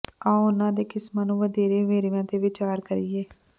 ਆਓ ਉਨ੍ਹਾਂ ਦੇ ਕਿਸਮਾਂ ਨੂੰ ਵਧੇਰੇ ਵੇਰਵਿਆਂ ਤੇ ਵਿਚਾਰ ਕਰੀਏ